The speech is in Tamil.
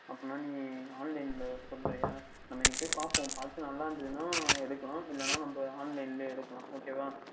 அப்படியென்றால் நீங்கள் Online ல பண்ணுகிறீர்களா நாம் இன்னைக்கு போய் பார்ப்போம் நன்றாக இருந்தது எஎன்றால் எடுத்துக்கொள்ளலாம் இல்லையென்றால் நாம் Online ல யே எடுத்துக்கொள்ளலாம் Ok வா